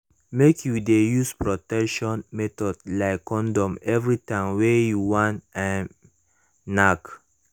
make you de use protection method like condom every time wey u wan um knack